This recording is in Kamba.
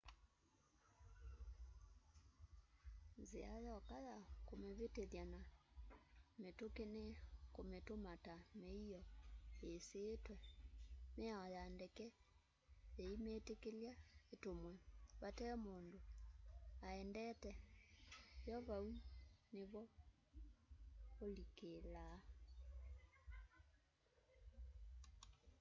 nzia yoka ya kumivitithya na mitumi ni kumituma ta miio isiitwe miao ya ndeke yiimitikilya itumwe vate mundu aendete yo vau nivo ulikilaa